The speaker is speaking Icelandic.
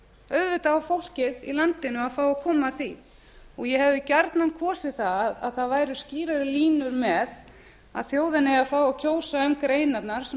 auðvitað á fólkið i landinu að fá að koma að því ég hefði gjarnan kosið að það væru skýrari línur með að bjóða eigi að fá að kjósa um greinarnar sem